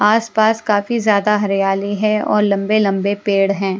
आसपास काफी ज़्यादा हरियाली है और लंबे-लंबे पेड़ हैं।